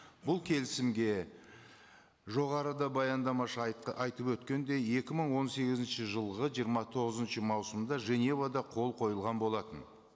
бұл келісімге жоғарыда баяндамашы айтып өткендей екі мың он сегізінші жылғы жиырма тоғызыншы маусымда женевада қол қойылған болатын